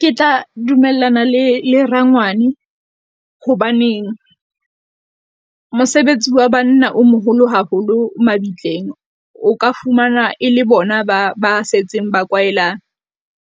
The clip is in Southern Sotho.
Ke tla dumellana le le rangwane, hobaneng mosebetsi wa banna o moholo haholo mabitleng. O ka fumana e le bona ba ba setseng ba kwaela